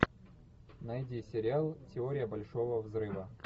найди сериал теория большого взрыва